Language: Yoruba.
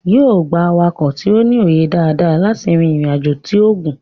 yóò gbà awakọ̀ tí o ní òye dada láti rí ìrìn ajọ tíó gún